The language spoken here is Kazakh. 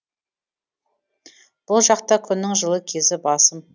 бұл жақта күннің жылы кезі басым